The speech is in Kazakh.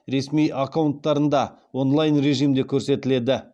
ресми аккаунттарында онлайн режимде көрсетіледі